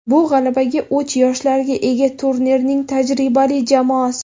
Bu – g‘alabaga o‘ch yoshlarga ega turnirning tajribali jamoasi.